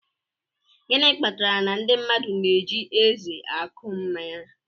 Gịnị kpatara na ndị mmadụ na-eji eze akwụ mmanya?